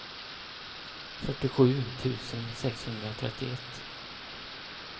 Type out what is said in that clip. fyrtiosju tusen sexhundratrettioett